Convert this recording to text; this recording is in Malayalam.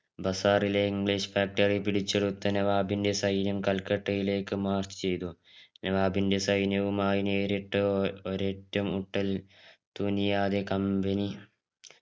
ബസാറിലെ english factory പിടിച്ചെടുത്ത നവാബിന്റെ സൈന്യം കൽക്കട്ടയിലേക്കു മാർച്ച് ചെയ്തു നവാബിന്റെ സൈന്യവുമായി നേരിട്ടോ ഒരേറ്റുമുട്ടൽ തുനിയാതെ company